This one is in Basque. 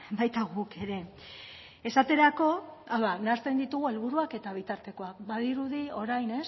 baita guk ere esaterako nahasten ditugu helburuak eta bitartekoak badirudi orain